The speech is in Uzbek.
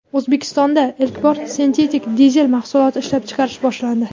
O‘zbekistonda ilk bor sintetik dizel mahsuloti ishlab chiqarish boshlandi.